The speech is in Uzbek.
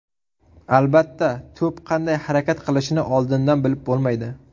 Albatta, to‘p qanday harakat qilishini oldindan bilib bo‘lmaydi.